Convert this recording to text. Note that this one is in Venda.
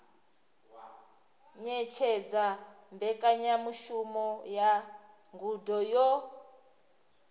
ṅetshedza mbekanyamushumo ya ngudo yo